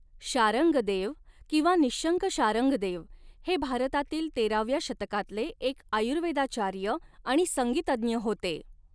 शारंगदेव किंवा निःशङ्क शार्ङ् गदेव हे भारतातील तेराव्या शतकातले एक आयुर्वेदाचार्य आणि संगीतज्ञ होते.